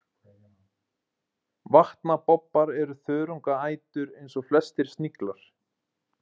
Vatnabobbar er þörungaætur eins og flestir sniglar.